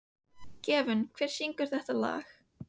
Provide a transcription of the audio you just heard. Gefjun, hver syngur þetta lag?